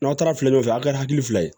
N'aw taara filɔnfɛ a ka kɛ hakili fila ye